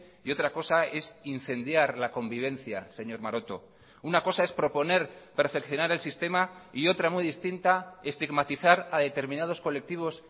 y otra cosa es incendiar la convivencia señor maroto una cosa es proponer perfeccionar el sistema y otra muy distinta estigmatizar a determinados colectivos